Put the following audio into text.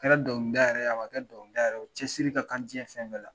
A kɛra dɔnkilida yɛrɛ ye o, a ma kɛ dɔnkilida yɛrɛ o cɛsiri ka ɲi diɲɛ fɛn bɛɛ la